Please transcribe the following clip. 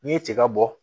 N'i ye tiga bɔ